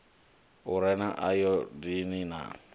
u re na ayodini a